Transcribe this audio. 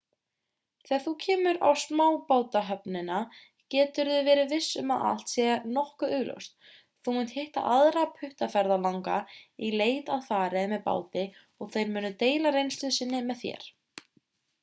þegar þú kemur á smábátahöfnina geturðu verið viss um að allt sé nokkuð augljóst þú munt hitta aðra puttaferðalanga í leit að fari með báti og þeir munu deila reynslu sinni með þér